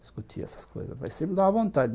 Discutia essas coisas, mas sempre dava vontade.